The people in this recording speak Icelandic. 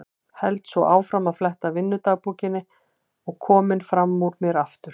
Held svo áfram að fletta vinnudagbókinni og kominn fram úr mér aftur.